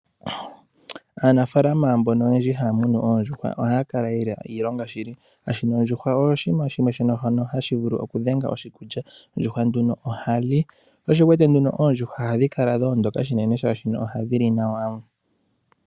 Aanafaalama mbono oyendji haa munu oondjuhwa ohaya kala ye na iilonga shili, shaashi ondjuhwa oyo oshinima shimwe shono hashi vulu okudhenga oshikulya. Ondjuhwa nduno ohali, sho osho wu wete nduno oondjuhwa ohadhi kala dho ondoka, oshoka ohadhi li nawa.